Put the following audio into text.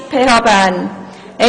Wer ist die PHBern?